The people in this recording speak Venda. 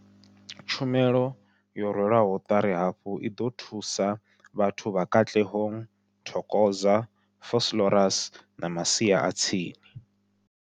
Tshumelo yo rwelwaho ṱari hafhu i ḓo thusa vhathu vha Katlehong, Thokoza, Vosloorus na masia a tsini.